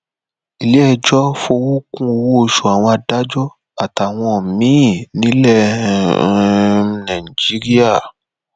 iléẹjọ fọwọ kún ọwọoṣù àwọn adájọ àtàwọn míín nílẹ um Nigeria